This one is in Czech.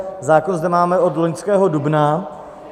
Zákon zde máme od loňského dubna.